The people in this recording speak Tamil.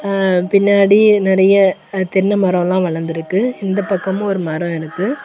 ஆ பின்னாடி நறைய அ தென்னை மரொல்லா வளந்திருக்கு இந்த பக்கமூ ஒரு மரொ இருக்கு.